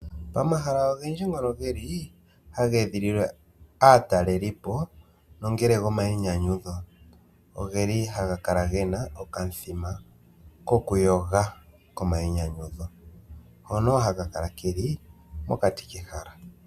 Omahala ogendji ngono geli haga edhililwa aa talelipo nongele omai nyanyudho, ogeli haga kala gena okamu thima koku yoga koma yi nyanyudho ngono haga kala geli mokati kehala.